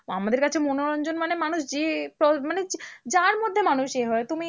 আমাদের কাছে মনোরঞ্জন মানে মানুষ যে মানে যার মধ্যে মানুষ এ হয় তুমি